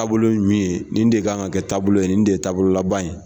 Taabolo min ye nin de kan ka kɛ taabolo ye nin de ye taabolo laban ye.